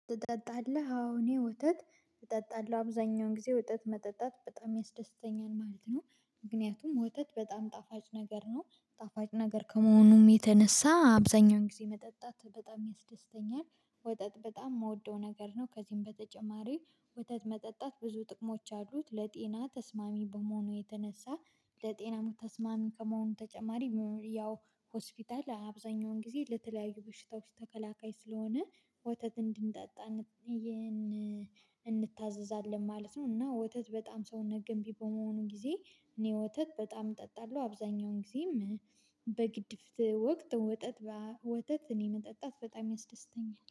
ትጠጣለህ? አዎ እኔ ወተት እጠጣለሁ። አብዛኛውን ጊዜ ወተት መጠጣት በጣም ያስደስተኛል ማለት ነው። ምክንያቱም ወጣት በጣም ጣፋጭ ነገር ነው። ጣፋጭ ነገር ከመሆኑም የተነሳ አብዛኛውን ጊዜ መጠጣት በጣም ያስደስተኛል። ወተጥ በጣም የምወደው ነገር ነው። ከዚህም በተጨማሪ ወተጥ መጠጣት ብዙ ጥቅሞች አሉት። ለጤና ተስማሚ በመሆኑ የተነሳ ለጤና ተስማሚ ከመሆኑ ተጨማሪ፤ ያው ሆስፒታል አብዛኛውን ጊዜ ለተለያዩ በሽታዎች ተከላካይ ስለሆነ ወተት እንድንጠጣ እንታዘዛለን ማለት ነው። እና ወተት በጣም ሰውነት ገንቢ በመሆኑ ጊዜ እኔ ወተት በጣም እጠጣለሁ። አብዛኛውን ጊዜም በግድፍ ወቅት ወተትን ወተት እኔ መጠጣት በጣም ያስደስተኛል።